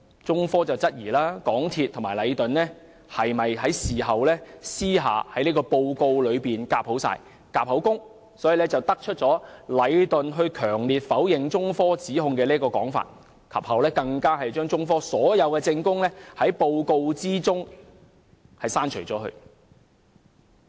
中科質疑港鐵公司和禮頓事後是否私下在報告中"夾口供"，以得出禮頓強烈否認中科指控的說法，更把中科所有證供從報告中刪除。